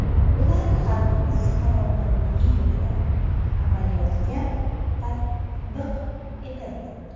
Ular xalqimiz farovonligi yo‘lida amaliyotga tatbiq etildi.